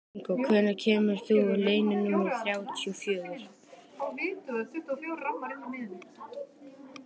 Ingþór, hvenær kemur leið númer þrjátíu og fjögur?